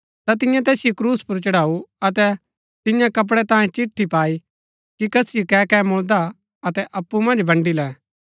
ता तिन्यै तैसिओ क्रूस पुर चढ़ाऊ अतै तियां कपड़ै तांयें चिट्ठी पाई की कसिओ कै कै मुळदा अतै अप्पु मन्ज बन्डी लै